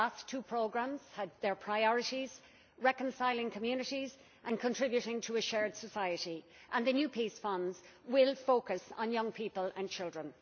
The last two programmes had as their priorities reconciling communities and contributing to a shared society, and the new peace funds will focus on young people and children.